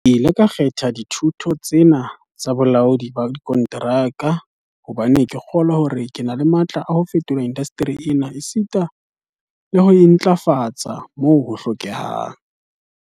"Ke ile ka kgetha dithuto tse na tsa bolaodi ba dikonteraka hobane ke kgolwa hore ke na le matla a ho fetola indasteri ena esita le ho e ntlafatsa moo ho hlokehang."